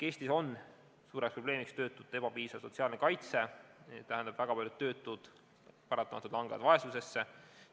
Eestis on suur probleem töötute ebapiisav sotsiaalne kaitse, mis tähendab, et väga paljud töötud paratamatult langevad vaesusesse.